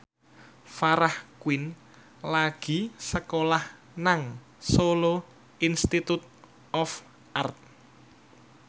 Farah Quinn lagi sekolah nang Solo Institute of Art